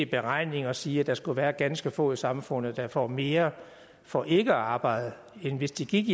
beregninger sige at der skulle være ganske få i samfundet der får mere for ikke at arbejde end hvis de gik